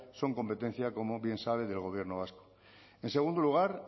son competencia como bien sabe del gobierno vasco en segundo lugar